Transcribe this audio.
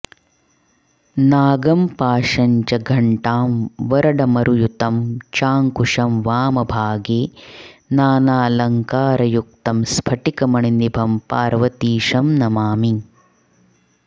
नागं पाशं च घण्टां वरडमरुयुतं चाङ्कुशं वामभागे नानालङ्कारयुक्तं स्फटिकमणिनिभं पार्वतीशं नमामि